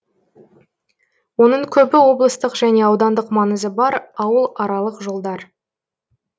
оның көбі облыстық және аудандық маңызы бар ауыл аралық жолдар